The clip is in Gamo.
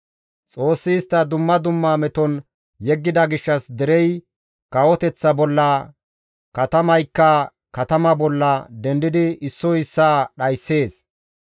Xoossi istta dumma dumma meton yeggida gishshas derey kawoteththa bolla, katamaykka katama bolla dendidi issoy issaa dhayssees.